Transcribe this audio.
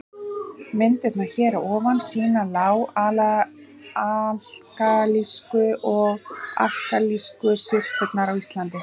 Myndirnar hér að ofan sýna lág-alkalísku og alkalísku syrpurnar á Íslandi.